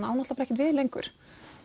á ekkert við lengur